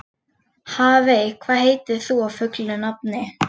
Hafey, hvað heitir þú fullu nafni?